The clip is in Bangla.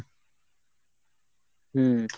হম